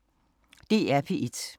DR P1